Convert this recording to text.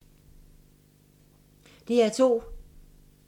DR2